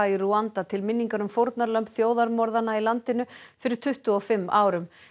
í Rúanda til minningar um fórnarlömb þjóðarmorða í landinu fyrir tuttugu og fimm árum